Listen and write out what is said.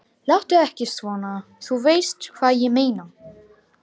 Láttu ekki svona. þú veist hvað ég meina.